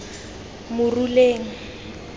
moruleng